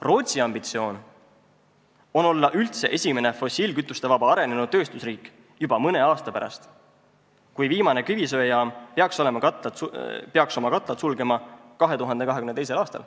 Rootsi ambitsioon on olla üldse esimene fossiilkütustevaba arenenud tööstusriik juba mõne aasta pärast, kui viimane kivisöejaam peaks 2022. aastal oma katlad sulgema.